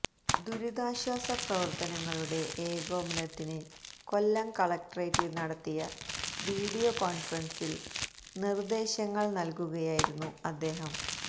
ദുരിതാശ്വാസ പ്രവർത്തനങ്ങളുടെ ഏകോപനത്തിന് കൊല്ലം കളക്ട്രേറ്റിൽ നടത്തിയ വീഡിയോ കോൺഫറൻസിൽ നിർദേശങ്ങൾ നൽകുകയായിരുന്നു അദ്ദേഹം